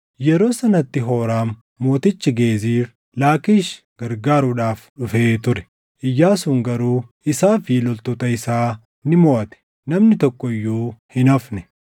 Yeroo sanatti Hooraam mootichi Geezir, Laakkiish gargaaruudhaaf dhufee ture; Iyyaasuun garuu isaa fi loltoota isaa ni moʼate; namni tokko iyyuu hin hafne.